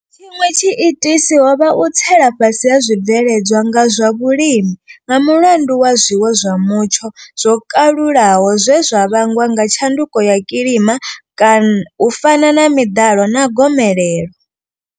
Tshiṅwe tshiitisi ho vha u tsela fhasi ha zwibveledzwa zwa vhulimi nga mulandu wa zwiwo zwa mutsho zwo kalulaho zwe zwa vhangwa nga tshanduko ya kilima u fana na miḓalo na gomelelo.